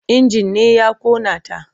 Injin ne ya ƙona ta.